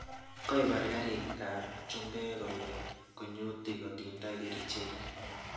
Koibar kariik ab chumbek kole kunyutik kotindai kerchek